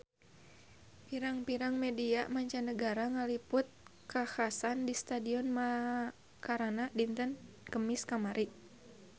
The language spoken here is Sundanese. Pirang-pirang media mancanagara ngaliput kakhasan di Stadion Macarana dinten Kemis kamari